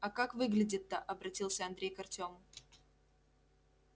а как выглядит-то обратился андрей к артёму